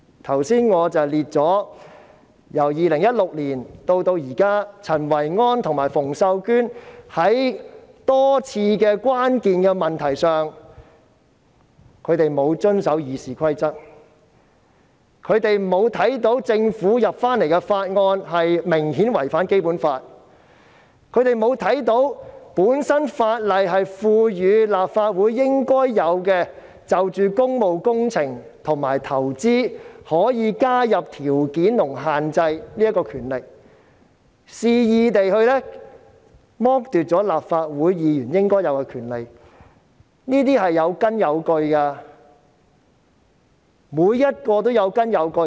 我剛才列出由2016年至今，陳維安和馮秀娟多次在關鍵問題上沒有遵守《議事規則》，沒有看到政府向立法會提交的法案明顯違反《基本法》，沒有看到法例賦予立法會可就工務工程和投資加入條件和限制的應有權力，肆意剝奪立法會議員應有的權利，每一項指控均有根有據。